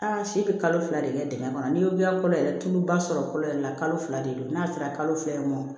Aa si bɛ kalo fila de kɛ dingɛ kɔnɔ ni y'o kolo yɛrɛ tuluba sɔrɔ kolo yɛrɛ la kalo fila de don n'a sera kalo fila ye ma